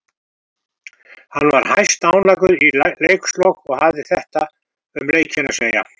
Hann var hæstánægður í leikslok og hafði þetta um leikinn að segja.